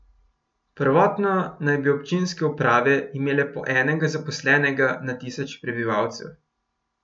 Prvotno naj bi občinske uprave imele po enega zaposlenega na tisoč prebivalcev.